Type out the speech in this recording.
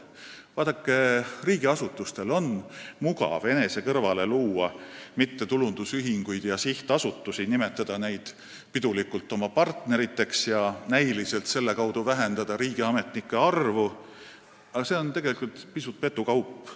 Vaadake, riigiasutustel on mugav luua enese kõrvale mittetulundusühinguid ja sihtasutusi, nimetada neid pidulikult oma partneriteks ja vähendada selle kaudu näiliselt riigiametnike arvu, aga tegelikult on see pisut petukaup.